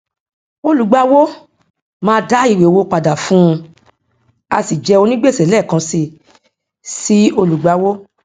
olùgbàwọ máa dá ìwé owó padà fún un á sì jẹ onígbèsè lẹẹkan si sí olùgbàwọ